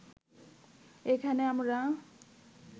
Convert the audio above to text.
এখানে আমরা